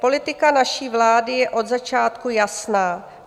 "Politika naší vlády je od začátku jasná.